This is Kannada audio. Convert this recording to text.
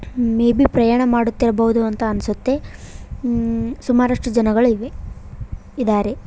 ಮೇ ಬಿ ಪ್ರಯಾಣ ಮಾಡುತ್ತಿರಬಹುದು ಅಂತ ಅನ್ಸುತ್ತೆ ಮ್ಮ್ - ಸುಮಾರಷ್ಟು ಜನಗಳು ಇವೆ ಇದಾರೆ.